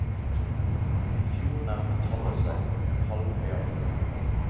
I fjor nærmet tallet seg en halv milliard kroner.